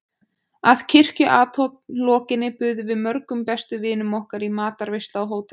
Að kirkjuathöfn lokinni buðum við mörgum bestu vinum okkar í matarveislu á hótelinu.